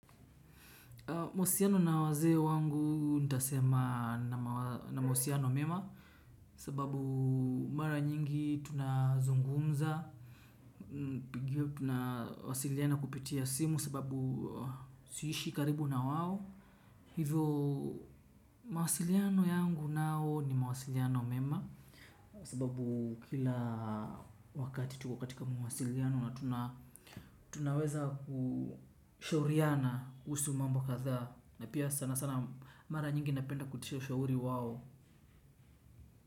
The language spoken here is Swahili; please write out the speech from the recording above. Mahusiano na wazee wangu nitasema namahusiano mema. Sababu mara nyingi tunazungumza, tunawasiliana kupitia simu, sababu siishi karibu na wao. Hivo mawasiliano yangu nao ni mawasiliano mema. Sababu kila wakati tuko katika mawasiliano na tunaweza kushauriana. Kuhusu mambo kathaa na pia sana sana mara nyingi napenda kutia ushauri wao.